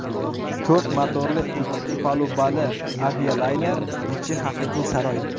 To‘rt motorli ikki palubali avialayner ichi haqiqiy saroy.